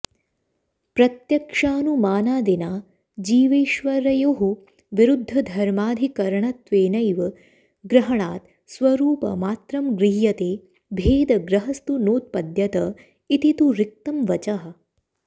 प्रत्यक्षानुमानादिना जीवेश्वरयोः विरुद्धधर्माधिकरणत्वेनॆव ग्रहणात् स्वरूपमात्रं गृह्यते भेदग्रहस्तु नोत्पद्यत इति तु रिक्तं वचः